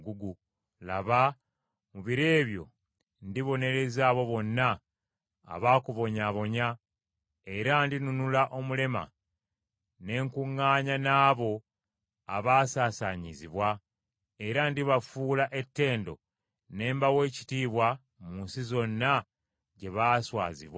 Laba, mu biro ebyo ndibonereza abo bonna abaakubonyaabonya: era ndinunula omulema, ne nkuŋŋaanya n’abo abaasaasaanyizibwa; era ndibafuula ettendo ne mbawa ekitiibwa mu nsi zonna gye baaswazibwa.